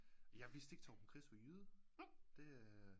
Jeg vidste ikke Torben Chris var jyde det øh